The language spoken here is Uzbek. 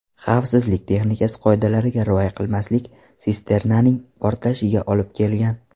Xavfsizlik texnikasi qoidalariga rioya qilmaslik sisternaning portlashiga olib kelgan.